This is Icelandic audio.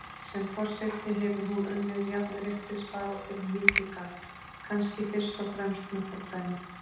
Sem forseti hefur hún unnið jafnréttisbaráttunni mikið gagn, kannski fyrst og fremst með fordæmi.